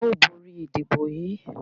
A óò borí ìdìbò yìí.